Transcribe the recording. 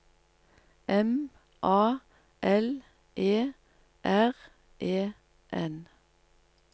M A L E R E N